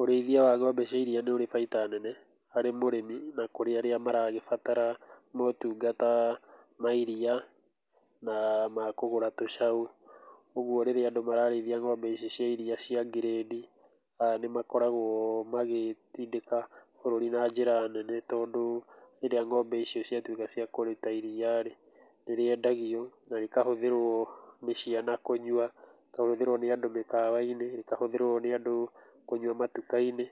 Ũrĩithia wa ng'ombe cia iria nĩ ũrĩ baita nene, harĩ mũrĩmi na kũrĩ arĩa maragĩbatara motungata ma iria, na makũgũra tũcau. Ũguo rĩrĩa andũ mararĩithia ng'ombe ici cia iria cia ngirĩndi, nĩ makoragũo magĩtindĩka bũrũri na njĩra nene tondũ rĩrĩa ng'ombe icio ciatuĩka cia kũruta iria rĩ, nĩ rĩendagio na rĩkahũthĩrwo nĩ ciana kũnyua, rĩkahũthĩrwo nĩ andũ mĩkawa-inĩ, rĩkahũthĩrwo nĩ andũ kũnyua matuka-inĩ